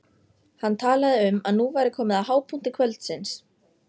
Hann talaði um að nú væri komið að hápunkti kvöldsins.